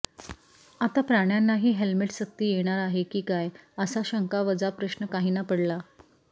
आता प्राण्यांनाही हेल्मेट सक्ती येणार आहे की काय असा शंका वजा प्रश्न काहींना पडला